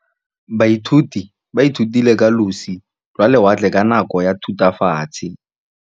Baithuti ba ithutile ka losi lwa lewatle ka nako ya Thutafatshe.